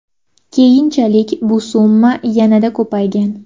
Keyinchalik bu summa yanada ko‘paygan.